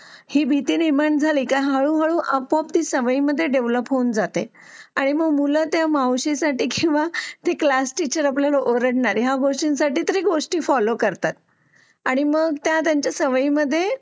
ही भीती निर्माण झाली त्यामुळे आपापसात डेव्हलप होऊन जाते आणि मग मुलं त्या मावशीसाठी मग ती क्लास टीचर ओरडणार या गोष्टीसाठी ती फॉलो करतात आणि मग त्या त्यांच्या सवयी मध्ये